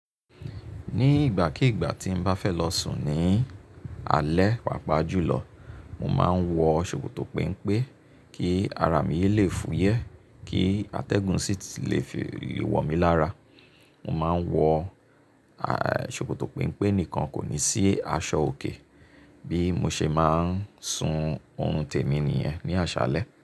Ní ìgbàkígbà tí n bá fẹ́ lọ sùn ní alẹ́ pàápàá jùlọ, mo máa ń wọ ṣòkòtò penpe kí ara mi yẹ lé fúyẹ́, kí atẹ́gùn sì lé fi wọ mi lára. Mo máa ń wọ ṣòkòtò penpe nìkan kò ní sí aṣọ òkè bí mo ṣe máa ń sùn òorun temi nìyen ní àṣálẹ́.